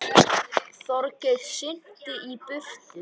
Þorgeir synti í burtu.